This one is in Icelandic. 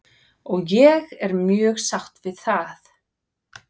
Og ég er mjög sátt við það.